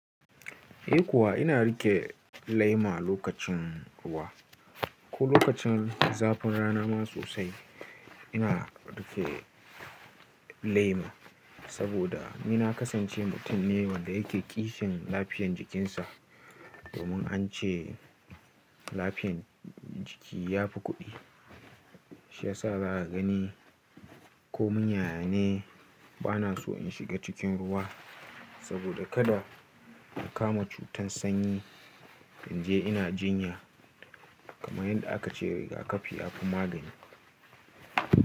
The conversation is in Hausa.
Eh kuwa ina riƙe laima lokacin ruwa ko lokacin zafin rana ma sosai ina riƙe lema. Saboda ni na kasance mutum ne wanda yake kishin lafiyan jikinsa. Domin an ce lafiyan jiki yafi kuɗi, shi yasa zaka gani ko mun yaya ne bana so in shiga cikin ruwa saboda kada in kama cutar sanyi in je ina jinya. Kamar yadda aka ce riga-kafi yafi magani.